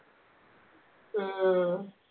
ആ